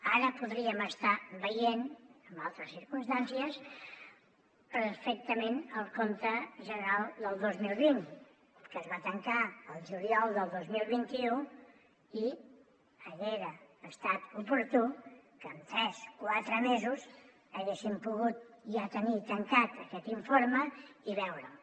ara podríem estar veient en altres circumstàncies perfectament el compte general del dos mil vint que es va tancar al juliol del dos mil vint u i haguera estat oportú que en tres quatre mesos haguéssim pogut ja tenir tancat aquest informe i veure’l